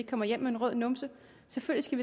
kommer hjem med en rød numse selvfølgelig